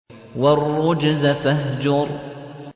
وَالرُّجْزَ فَاهْجُرْ